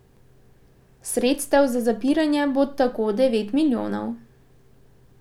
Sredstev za zapiranje bo tako devet milijonov.